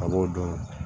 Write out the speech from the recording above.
A b'o dɔn